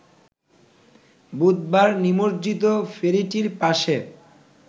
বুধবার নিমজ্জিত ফেরিটির পাশে